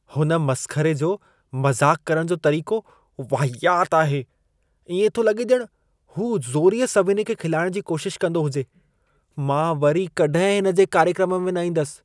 हुन मस्ख़रे जो मज़ाक़ करणु जो तरीक़ो वाहियात आहे। इएं थो लॻे ॼण हू ज़ोरीअ सभिनी खे खिलाइण जी कोशिश कंदो हुजे। मां वरी कॾहिं हिन जे कार्यक्रम में न ईंदसि।